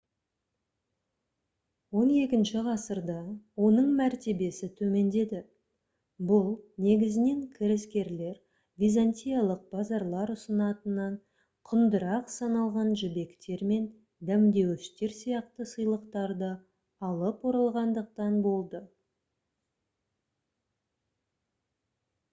он екінші ғасырда оның мәртебесі төмендеді бұл негізінен кірескерлер византиялық базарлар ұсынатыннан құндырақ саналған жібектер мен дәмдеуіштер сияқты сыйлықтарды алып оралғандықтан болды